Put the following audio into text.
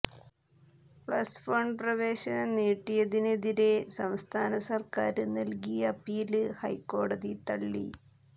plus one പ്രവേഷനം നീട്ടിയതിനെതിരെ സംസ്ഥാന സര്ക്കാര് നല്കിയ അപ്പീല് ഹൈക്കോടതി തള്ളി